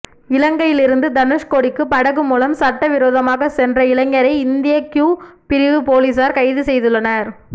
இலங்கையிலிருந்து தனுஸ்கோடிக்கு படகு மூலம் சட்டவிரோதமாக சென்ற இளைஞரை இந்திய க்யூ பிரிவு பொலிசார் கைதுசெய்துள்ளனர்